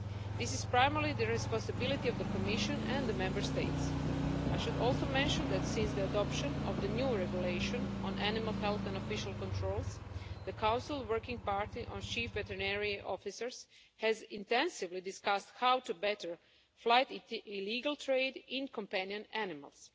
This is primarily the responsibility of the Commission and the Member States. I should also mention that since the adoption of the new regulation on animal health and official controls, the Council working party of Chief Veterinary Officers has intensively discussed how to better fight illegal trade in companion animals.